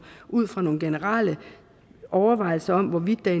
ud fra nogle generelle overvejelser om hvorvidt der i